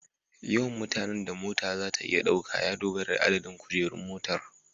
Yawan mutanen da mota za ta iya ɗauka ya dogara da adadin kujerun motar